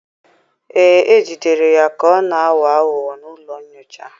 Ee, e jidere ya ka ọ na-aghọ aghụghọ n'ụlọ nyocha.